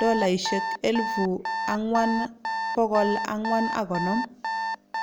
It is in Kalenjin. �4,450